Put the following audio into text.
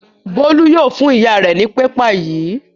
Bólú yóò fún ìyá rẹ̀ ní pépà yìí.